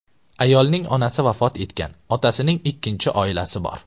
Ayolning onasi vafot etgan, otasining ikkinchi oilasi bor.